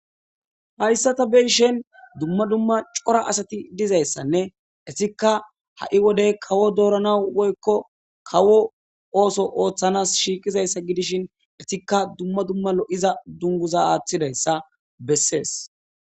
Haysa ta be'ishin duma duma cora asati dizaysane etika ha'i wode kawo dooranawu woyko kawo ooso othanawu shiiqidaysa gidishin etika duma duma lo'iza dumguza aathidaysa beses